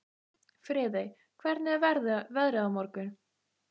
Friðey, hvernig er veðrið á morgun?